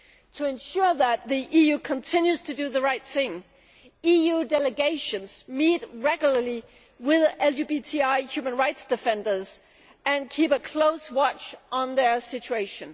To ensure that the EU continues to do the right thing, EU delegations meet regularly with LGBTI human rights defenders and keep a close watch on their situation.